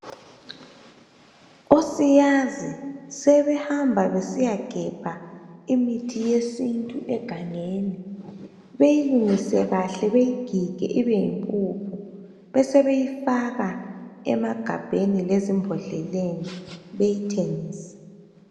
Osiyazi sebehamba besiyagebha imithi yesintu egangeni. Beyilungise kahle bayigige ibeyimpuphu besebeyifaka emagabheni lezimbodleleni bayithengise.